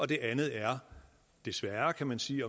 det andet er desværre kan man sige